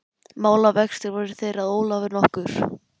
Málavextir voru þeir að Ólafur nokkur